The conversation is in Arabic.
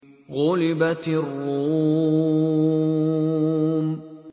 غُلِبَتِ الرُّومُ